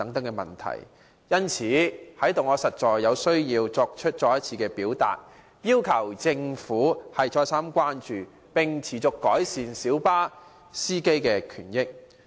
因此，我實在有必要在這裏再三呼籲政府予以關注，改善小巴司機的權益。